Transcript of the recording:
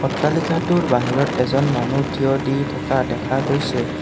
অট্টালিকাটোৰ বাহিৰত এজন মানুহ থিয় দি থকা দেখা গৈছে।